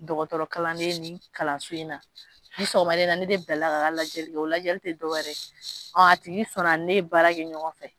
Dɔgɔtɔrɔkalanden ni kalanso in na sɔgɔmada in na ne de bilala k'a ka lajɛli kɛ o lajɛli tɛ dɔwɛrɛ ɔ a tigi sɔnna ne ye baara kɛ ɲɔgɔn fɛ